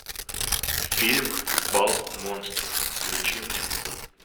фильм бал монстров включи мне